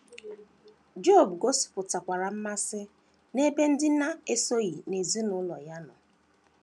Job gosipụtakwara mmasị n’ebe ndị na - esoghị n’ezinụlọ ya nọ.